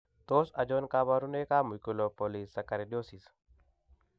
Tos achon kabarunaik ab Mucopolysaccharidosis ?